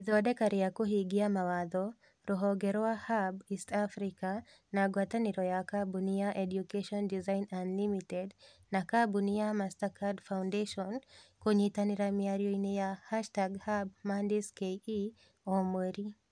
Ithondeka rĩa kũhingia mawatho: Ruhonge rwa Hub East Africa, na ngwatanĩro ya kabuni ya Education Design Unlimited na kabuni ya Mastercard Foundation (kũnyitanĩra mĩarioinĩ ya #hubMondaysKE o mweri).